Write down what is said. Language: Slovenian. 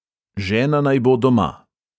Žena naj bo doma!